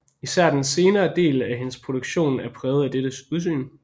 Især den senere del af hendes produktion er præget af dette udsyn